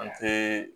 An te